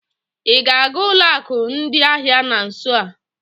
Ị ga-aga ụlọ akụ ndị ahịa na nso a?